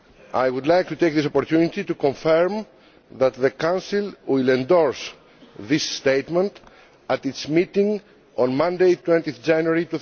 I would like to take this opportunity to confirm that the Council will endorse this statement at its meeting on Monday, 20 January